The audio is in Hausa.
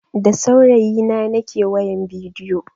Da saurayi na nake wayan bidiyo.